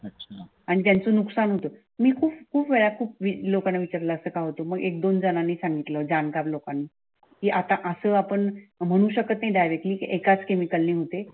आणि त्याचे नुकसान होत मी खूप खूप वेळा खूप लोकांना विचारलं असं का होतं? मग एक धोन जणांनी सांगितलं जाणकार लोकांन ते आता असं आपण म्हणू शकत नाही डायरेक्ट्ली एकाच केमिकलने होते.